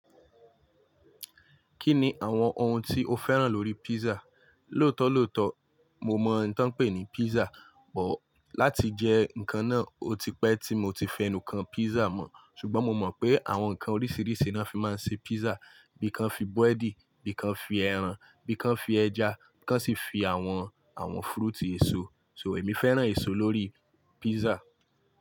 Kí ni àwọn ohun tí o fẹ́ràn lórí pizza? Lótọ́lọ́ọ̀tọ́, mo mọ ohun tí wọ́n ń pè ní pizza, bọ̀ láti jẹ́ nǹkan náà, ó ti pẹ́ tí mo ti fẹnu kàn pizza mọ̀. Ṣùgbọ́n mo mọ̀ pé àwọn ǹkan oríṣiríṣi ni wọ́n fi máa ń ṣe pizza. Bí i kan fi búwẹ́dìì, bí i kan fi ẹran, bí i kan fi ẹja, bí i kan sì fi àwọn, àwọn fúrúìtì eso. So èmi fẹ́ràn eso lórí pizza.